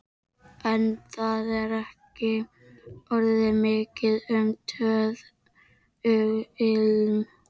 En það er ekki orðið mikið um töðuilm.